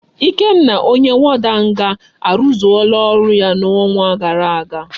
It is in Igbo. Ikenna onye warder nga aruzuola oru ya na onwa gara aga